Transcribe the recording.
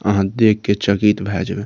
आहां देख के चकित भाय जेबे --